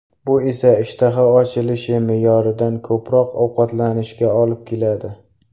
Bu esa ishtaha ochilishi, me’yoridan ko‘proq ovqatlanishga olib keladi.